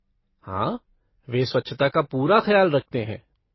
हाँ, वे स्वच्छता का पूरा खयाल रखते हैं।